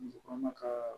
Muso kɔnɔma ka